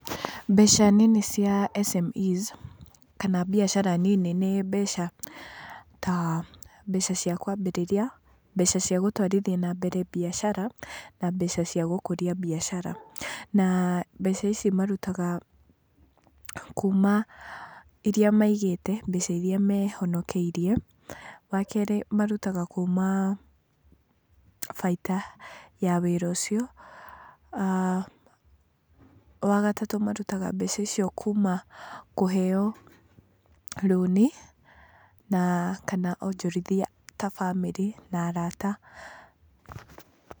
Mbeca nini cia SMEs kana mbiacara nini nĩ mbeca ta mbeca cia kwambĩrĩria, mbeca cia gũtwarithia na mbere biacara na mbeca cia gũkũria mbiacara. Na mbeca ici marutaga kuuma iria maigĩte, mbeca iria mehonokeirie. Wa kerĩ marutaga kuuma baita ya wĩra ucio. Wagatatũ marutaga mbeca icio kuuma kũheo rũni, na kana onjorithia ta bamĩrĩ na arata.